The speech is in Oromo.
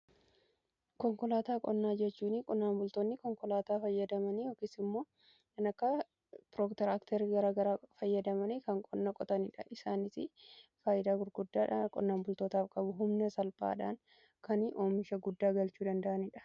Konkolaataa qonnaa jechuun qonnaan bultoonni konkolaataa fayyadamanii yookiis immoo kan akka pirootiraaktera gara garaa fayyadamanii kan qonnaa qotaniidha. Isaanis faayidaa gurguddaadha qonnaan bultootaaf qabu. Humna salphaadhaan kan oomisha guddaa galchuu danda'anidha.